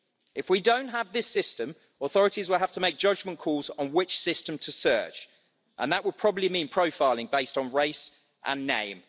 If we don't have this system, authorities will have to make judgment calls on which system to search, and that would probably mean profiling based on race and name.